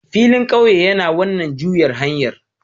Filin ƙauye yana wannan juyar hanyar